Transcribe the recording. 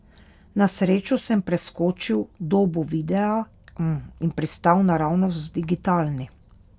Na srečo sem preskočil dobo videa in pristal naravnost v digitalni.